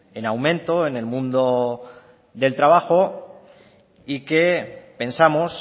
en aumento en el mundo del trabajo y que pensamos